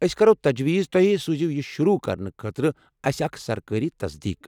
أسۍ كرو تجویز توہہِ سوزِو یہ شروٗع کرنہٕ خٲطرٕ اسہِ اکھ سرکٲرِ تصدیٖق۔